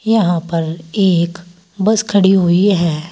यहां पर एक बस खड़ी हुई है।